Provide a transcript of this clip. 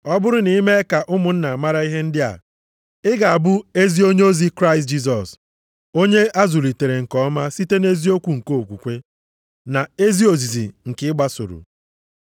Ọ bụrụ na ị mee ka ụmụnna mara ihe ndị a, ị ga-abụ ezi onyeozi Kraịst Jisọs, onye a zụlitere nke ọma site nʼeziokwu nke okwukwe, na ezi ozizi nke ị gbasoro.